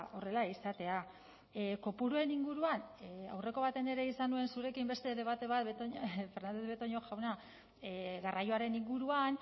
horrela izatea kopuruen inguruan aurreko batean ere izan nuen zurekin beste debate bat fernandez de betoño jauna garraioaren inguruan